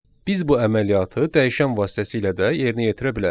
Biz bu əməliyyatı dəyişən vasitəsilə də yerinə yetirə bilərik.